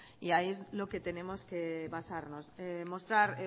y ahí es en lo que tenemos que basarnos mostrar